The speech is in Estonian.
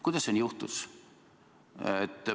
Kuidas nii juhtus?